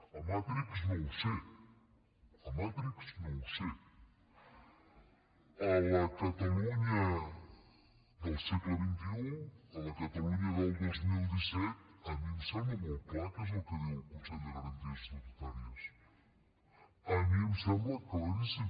a matrix no ho sé a matrix no ho sé a la catalunya del segle xxi2017 a mi em sembla molt clar què és el que diu el consell de garanties estatutàries a mi em sembla claríssim